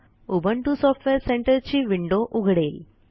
Ubuntu software Centerची window उघडेल